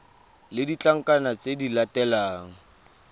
le ditlankana tse di latelang